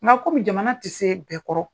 Nka komi jamana tɛ se bɛɛ kɔrɔ